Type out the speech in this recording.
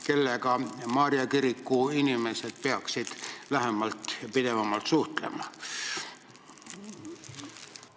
Kellega Maarja kiriku inimesed peaksid lähemal ajal suhtlema hakkama?